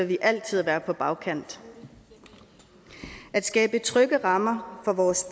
vi altid være på bagkant at skabe trygge rammer for vores